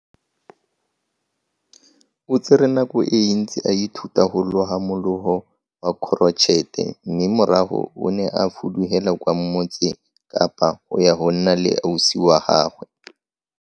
O tsere nako e ntsi a ithuta go loga mologo wa korotšhete mme morago o ne a fudugela kwa Motse Kapa go ya go nna le ausi wa gagwe.